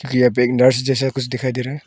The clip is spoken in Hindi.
पे बारिश जैसा कुछ दिखाई दे रहा है।